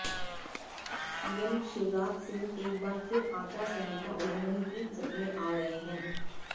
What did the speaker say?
CM Shivraj Singh एक बार फिर आचार संहिता उल्लंघन की जद में आ गए हैं